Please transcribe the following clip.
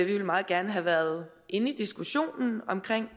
ville meget gerne have været inde i diskussionen om